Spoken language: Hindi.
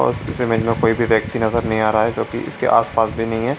और इस इमेज में कोई भी व्यक्ति नजर नहीं आ रहा है जो की इसके आस-पास भी नहीं है ।